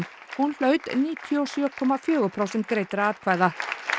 hún hlaut níutíu og sjö komma fjögur prósent greiddra atkvæða